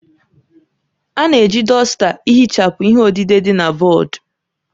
A na-eji dọsta ihichapụ ihe odide dị na bọọdụ